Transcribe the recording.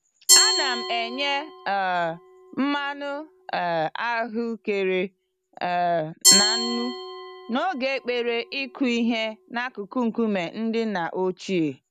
Ana m enye um mmanụ um ahụekere um na nnu n'oge ekpere ịkụ ihe n'akụkụ nkume ndị nna ochie.